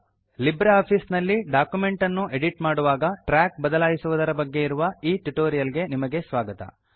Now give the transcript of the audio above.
Libre office ನಲ್ಲಿ document ಅನ್ನು edit ಮಾಡುವಾಗ ಟ್ರ್ಯಾಕ್ ಬದಲಾಯಿಸುವುದರ ಬಗ್ಗೆ ಇರುವ ಈ ಟ್ಯುಟೋರಿಯಲ್ ಗೆ ನಿಮಗೆ ಸ್ವಾಗತ